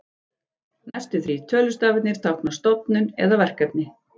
Næstu þrír tölustafirnir tákna stofnun eða verkefni.